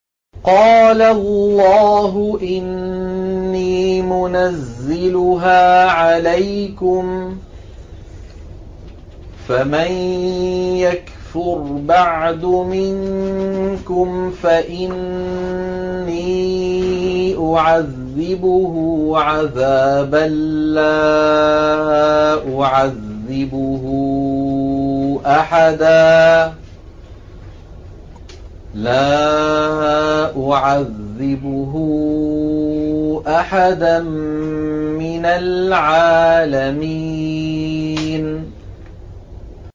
قَالَ اللَّهُ إِنِّي مُنَزِّلُهَا عَلَيْكُمْ ۖ فَمَن يَكْفُرْ بَعْدُ مِنكُمْ فَإِنِّي أُعَذِّبُهُ عَذَابًا لَّا أُعَذِّبُهُ أَحَدًا مِّنَ الْعَالَمِينَ